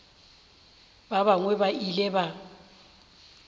ba bangwe ba ile ba